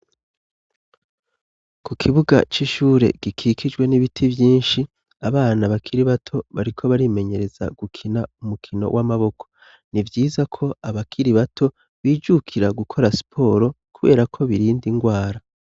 Ku kibuga c'ishure gikikijwe n'ibiti vyinshi abana bakiri bato bariko barimenyereza gukina umukino w'amaboko ni vyiza ko abakiri bato bijukira gukora sporo, kubera ko birinde ingwara.